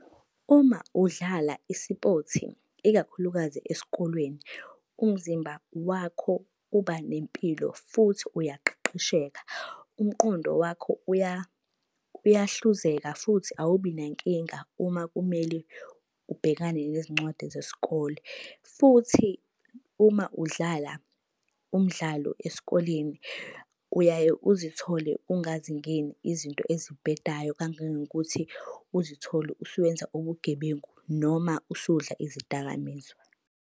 Uma udlala i-sport ikakhulukazi esikolweni, umzimba wakho uba nempilo futhi uyaqeqesheka. Umqondo wakho uyahluzeka futhi awubi nankinga uma kumele ubhekane nezincwadi zesikole. Futhi uma udlala umdlalo esikoleni uyaye uzithole ungazingeni izinto ezibhedayo kangangokuthi uzithole usuwenza ubugebengu noma usudla izidakamizwa.